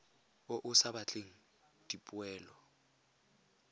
o o sa batleng dipoelo